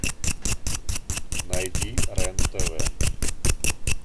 найди рен тв